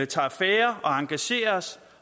tager affære og engagerer os